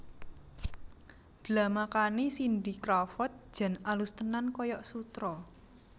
Dlamakane Cindy Crawford jan alus tenan koyok sutra